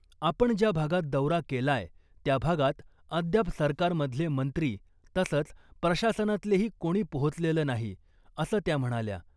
आपण ज्या भागात दौरा केलाय , त्या भागात अद्याप सरकारमधले मंत्री तसंच प्रशासनतलेही कोणी पोहोचलेलं नाही , असं त्या म्हणाल्या .